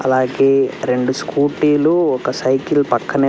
అలాగే రెండు స్కూటీలు ఒక సైకిల్ పక్కనే.